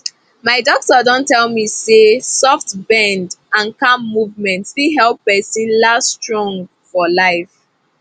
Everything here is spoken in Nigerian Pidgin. my doctor don tell me say soft bend and calm movement fit help person last strong for life